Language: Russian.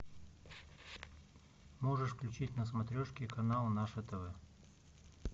можешь включить на смотрешке канал наше тв